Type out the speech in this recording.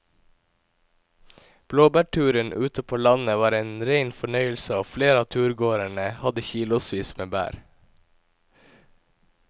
Blåbærturen ute på landet var en rein fornøyelse og flere av turgåerene hadde kilosvis med bær.